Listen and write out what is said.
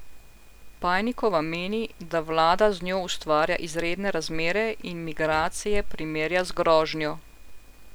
Pajnikova meni, da vlada z njo ustvarja izredne razmere in migracije primerja z grožnjo.